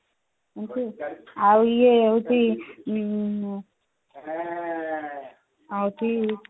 ଆଉ ଇଏ ହଉଛି ଆଁ ହଉଛି